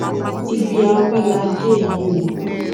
ibi a wí la dé yìí o